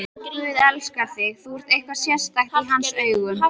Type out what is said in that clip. Guð elskar þig, þú ert eitthvað sérstakt í hans augum.